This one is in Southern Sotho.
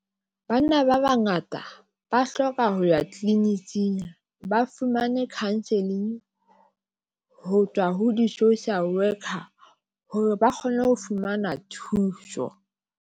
Banna ba bangata ba hloka ho ya tlwlininking ba fumane counselling ho tswa ho di-social worker hore ba kgone ho fumana thuso.